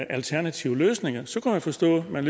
alternative løsninger så kunne jeg forstå at man